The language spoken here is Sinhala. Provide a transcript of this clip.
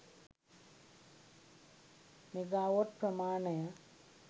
මෙගාවොට් ප්‍රමාණය